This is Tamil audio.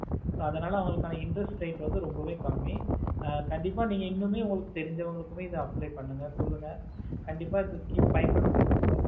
so அதனாலஅவங்களுக்கான interset rate ரொம்பவெய் கம்மி ஆஹ் கண்டிப்பா இன்னுமே எதை தெரிஞ்ச வங்களுக்குமே apply பண்ணுங்க சொல்லுங்க கண்டிப்பா எந்த scheme ஆஹ் பயனொப்படுத்தி கொள்ளுங்க